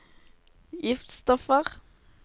giftstoffer